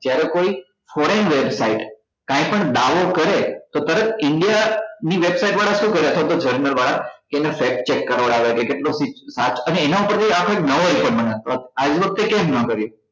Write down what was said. જયારે કોઈ foreign website કાઈ પણ દાવો કરે તો તરત india ની website વાળા શુ કરે અથવા તો journal વાળા કે એનો check કરાવડાવે કે કેટલો સીધ સાચ અને એના પર થી આપડે નવો વખતે કેમ ના કર્યો